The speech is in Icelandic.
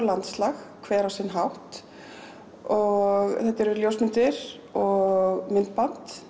landslag hvert á sinn hátt og þetta eru ljósmyndir og myndband